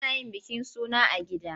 Ana yin bikin suna a gida.